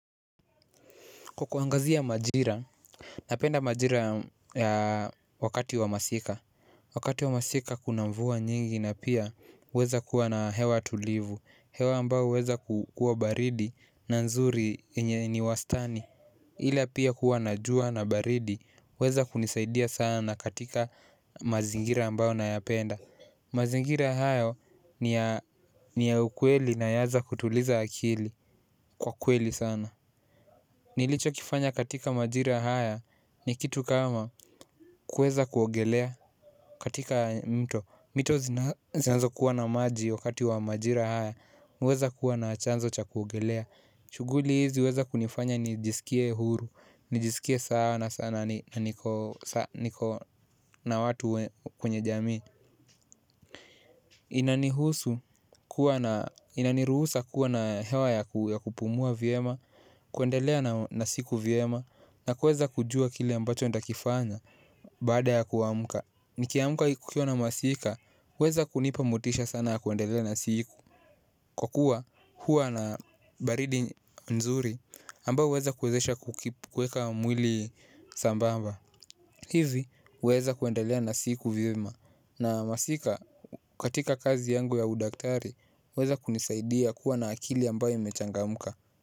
Kwa kuangazia majira, napenda majira wakati wa masika. Wakati wa masika kuna mvua nyingi na pia huweza kuwa na hewa tulivu. Hewa ambayo huweza kukua baridi na nzuri ni wastani ila pia huwa na jua na baridi huweza kunisaidia sana katika mazingira ambayo nayapenda. Mazingira hayo ni ya ukweli na yaeza kutuliza akili kwa kweli sana. Nilicho kifanya katika majira haya ni kitu kama kuweza kuogelea katika mto. Mito zinazokuwa na maji wakati wa majira haya mi huweza kuwa na chanzo cha kuogelea. Shughuli hizi huweza kunifanya nijisikie huru. Nijisikie sana sana na niko na watu kwenye jamii. Inanihusu kuwa na inaniruhusa kuwa na hewa ya kupumua vyema. Kuendelea na siku vyema na kuweza kujua kile ambacho ntakifanya. Baada ya kuamuka nikiamka kukiwa na masika huweza kunipa motisha sana kuendelea na siku. Kwa kuwa huwa na baridi nzuri ambayo huweza kuwezesha kueka mwili sambamba hivi huweza kuendelea na siku vyema. Na masika katika kazi yangu ya udaktari huweza kunisaidia kuwa na akili ambayo imechangamka.